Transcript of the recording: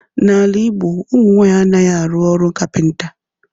N'ala Ịgbo, ụmụ nwaanyị anaghị arụ ọrụ kapịnta